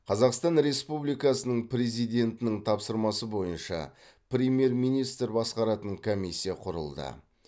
қазақстан республикасының президентінің тапсырмасы бойынша премьер министр басқаратын комиссия құрылды